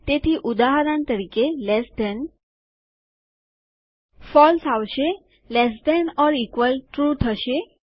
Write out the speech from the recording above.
તેથી ઉદાહરણ તરીકે લેસ ધેન ફોલ્સ આવશે લેસ ધેન ઓર ઇકવલ લ્ટ ટ્રૂ થશે